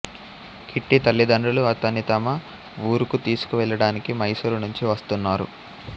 kitty తల్లిదండ్రులు అతన్ని తమ వూరుకు తీసుకు వెళ్ళడానికి మైసూరు నుంచి వస్తున్నారు